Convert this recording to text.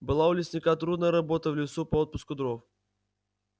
была у лесника трудная работа в лесу по отпуску дров